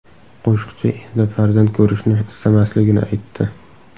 Qo‘shiqchi endi farzand ko‘rishni istamasligini aytdi.